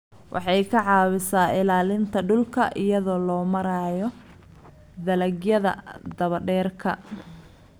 Waxay ka caawisaa ilaalinta dhulka iyada oo loo marayo dalagyada daba-dheeraada.